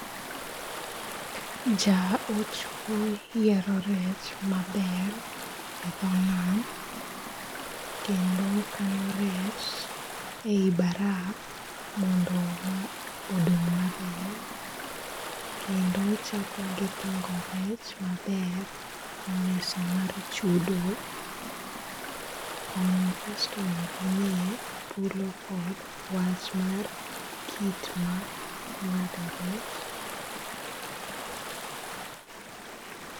Jaochwo yiero rech maber e dhonam kendo okano rech ei baraf mondo ma odong' maber kendo ochako gi pango rech maber e mesa mar chudo, konyo customer gi miye dhuolo kod wach mar kit ma ng'ado rech .